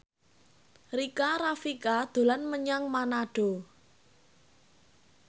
Rika Rafika dolan menyang Manado